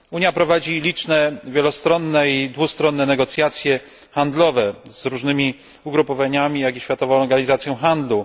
Unia prowadzi liczne wielostronne i dwustronne negocjacje handlowe z różnymi ugrupowaniami, jak i Światową Organizacją Handlu.